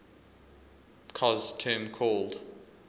cos term called